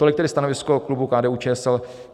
Tolik tedy stanovisko klubu KDU-ČSL.